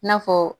I n'a fɔ